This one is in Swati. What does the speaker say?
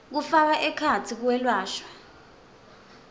kufaka ekhatsi kwelashwa